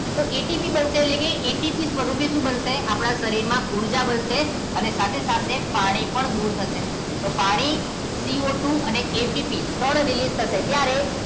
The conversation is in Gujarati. તો એટીપી બનશે એટલે કે એટીપી સ્વરૂપે શું બનશે આપણા શરીરમાં ઊર્જા બનશે અને સાથે સાથે પાણી પણ દૂર થશે એટલે પાણી સી ઓ ટુ અને એટીપી ત્રણ release થશે ક્યારે